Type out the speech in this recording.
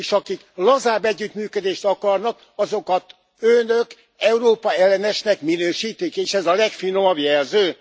És akik lazább együttműködést akarnak, azokat önök Európa ellenesnek minősítik, és ez a legfinomabb jelző?